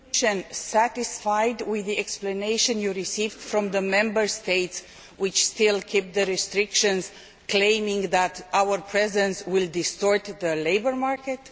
Is the Commission satisfied with the explanation you received from the Member States which are still keeping the restrictions, claiming that our presence will distort the labour market?